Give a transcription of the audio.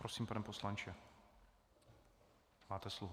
Prosím, pane poslanče, máte slovo.